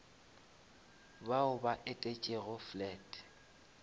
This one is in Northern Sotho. bao ba etetšego flat